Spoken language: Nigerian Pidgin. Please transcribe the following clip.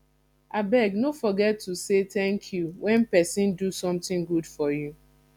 abeg no forget to say thank you when person do something good for you